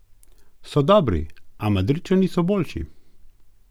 So dobri, a Madridčani so boljši.